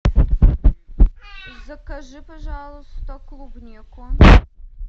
закажи пожалуйста клубнику